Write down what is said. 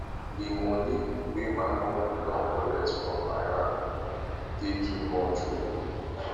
di moni wey my uncle don collect from my hand dey too much o